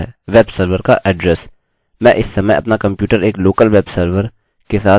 मैं इस समय अपना कम्प्यूटर एक लोकल वेब सर्वरlocal webserver के साथ मेरे लोकल होस्टlocal host के साथ उपयोग कर रहा हूँ